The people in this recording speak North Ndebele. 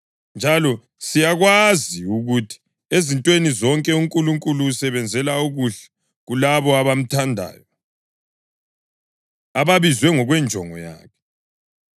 Njalo siyakwazi ukuthi ezintweni zonke uNkulunkulu usebenzela okuhle kulabo abamthandayo, ababizwe ngokwenjongo yakhe.